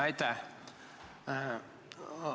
Aitäh!